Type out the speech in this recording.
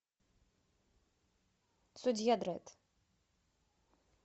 судья дредд